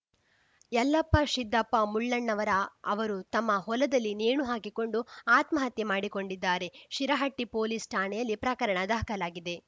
ಯಲ್ಲಪ್ಪ ಶಿದ್ದಪ್ಪ ಮುಳ್ಳಣ್ಣವರ ಅವರು ತಮ್ಮ ಹೊಲದಲ್ಲಿ ನೇಣು ಹಾಕಿಕೊಂಡು ಆತ್ಮಹತ್ಯೆ ಮಾಡಿಕೊಂಡಿದ್ದಾರೆ ಶಿರಹಟ್ಟಿಪೊಲೀಸ್‌ ಠಾಣೆಯಲ್ಲಿ ಪ್ರಕರಣ ದಾಖಲಾಗಿದೆ